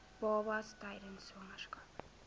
babas tydens swangerskap